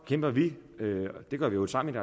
kæmper vi det gør vi jo sammen